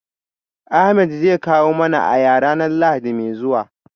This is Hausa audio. Ahmed zai kawo mana aya ranar lahadi mai zuwa